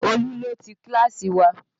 Olú ló ti Kíláàsì wa